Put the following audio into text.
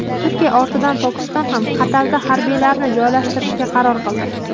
Turkiya ortidan Pokiston ham Qatarda harbiylarini joylashtirishga qaror qildi.